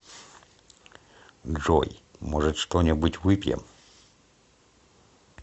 джой может что нибудь выпьем